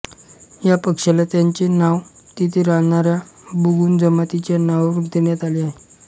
या पक्ष्याला त्याचे नाव तिथे राहणाऱ्या बुगुन जमातीच्या नावावरून देण्यात आले आहे